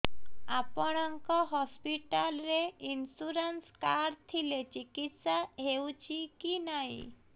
ଆପଣଙ୍କ ହସ୍ପିଟାଲ ରେ insurance card ଥିଲେ ଚିକିତ୍ସା ହେଉଛି କି ନାଇଁ